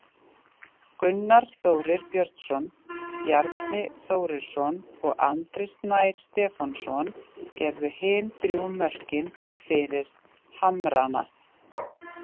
Gunnar Þórir Björnsson, Bjarni Þórisson og Andri Snær Stefánsson gerðu hin þrjú mörkin fyrir Hamrana.